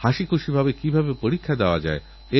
নরেন্দ্র মোদী অ্যাপএ বা mygovin এ পাঠাতে পারেন